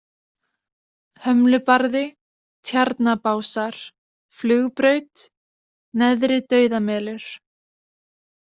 Hömlubarði, Tjarnabásar, Flugbraut, Neðri-Dauðamelur